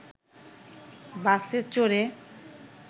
বাসে চড়ে